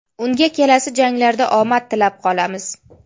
Unga kelasi janglarda omad tilab qolamiz!